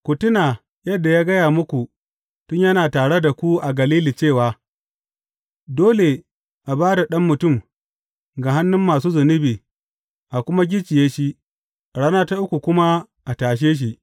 Ku tuna yadda ya gaya muku tun yana tare da ku a Galili cewa, Dole a ba da Ɗan Mutum ga hannun masu zunubi, a kuma gicciye shi, a rana ta uku kuma a tashe shi.’